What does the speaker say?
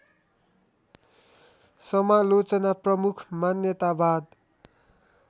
समालोचना प्रमुख मान्यतावाद